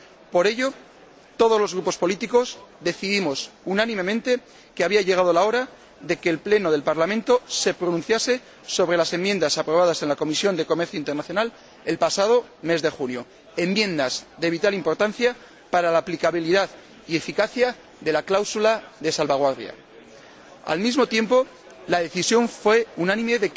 Por ello, todos los grupos políticos decidimos unánimemente que había llegado la hora de que el Pleno del Parlamento se pronunciase sobre las enmiendas aprobadas en la Comisión de Comercio Internacional el pasado mes de julio, enmiendas de vital importancia para la aplicabilidad y eficacia de la cláusula de salvaguardia. Al mismo tiempo, se tomó la decisión unánime